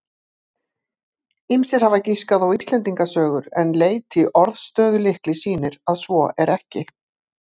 Ýmsir hafa giskað á Íslendingasögur en leit í orðstöðulykli sýnir að svo er ekki.